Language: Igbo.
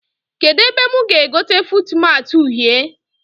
Kedụ ebe mụ ga-egote fuutmatị uhie?